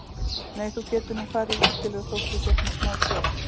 Nei, þú getur nú farið í útilegu þótt þú sért með smá kvef.